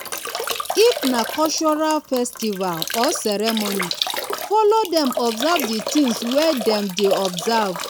if na cultural festival or ceremony follow them observe di things wey dem dey observe